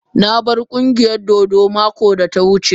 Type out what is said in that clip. Na bar ƙungiyar dodo mako da ta wuce.